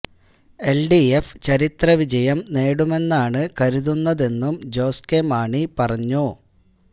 LDF ചരിത്ര വിജയം നേടുമെന്നാണ് കരുതുന്നതെന്നും ജോസ് കെ മാണി പറഞ്ഞു